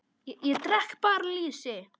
Ég drekk bara lýsi!